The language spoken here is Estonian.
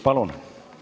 Palun!